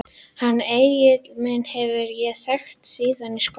Hann Egil minn hef ég þekkt síðan í skóla.